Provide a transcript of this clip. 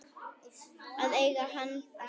Að eiga hann alltaf.